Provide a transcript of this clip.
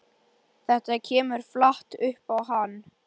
Þetta kemur flatt upp á hann.